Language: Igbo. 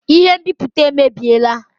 Ihe nbipute emebiela